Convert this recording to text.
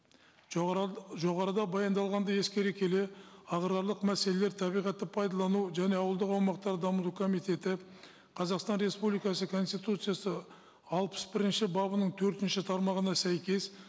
жоғарыда баяндалғанды ескере келе аграрлық мәселелер табиғатты пайдалану және ауылдық аумақтар дамыту комитеті қазақстан республикасы конституциясы алпыс бірінші бабының төртінші тармағына сәйкес